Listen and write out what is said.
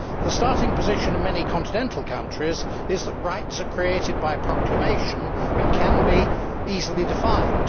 The starting position in many continental countries is that rights are created by proclamation and can be easily defined.